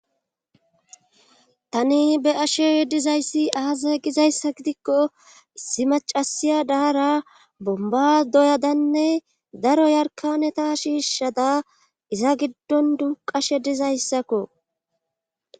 Tani be ashe yeddizayssi aaza gizayssa gidikko issi macasiya daara bomba doyadanne daro yarkaneta shiishshada iza giddon duqashe dizayssakko.